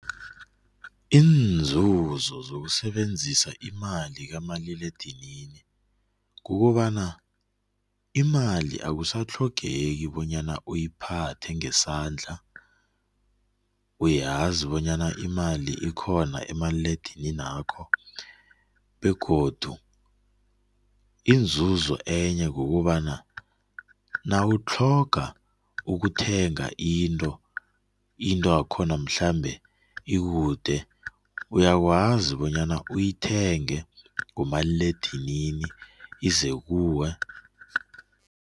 Iinzuzo zokusebenza imali kumaliledinini kukobana imali akusatlhogeki bonyana uyiphatha ngesandla, uyazi bonyana imali ikhona kumaliledininakho begodu inzuzo enye kukobana nawutlhoga ukuthenga into, into yakhona mhlamunye ikude uyakwazi bonyana uyithengele ngomaliledinini ize kuwe.